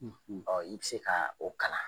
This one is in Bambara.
Ɔɔ i bi se ka o kalan.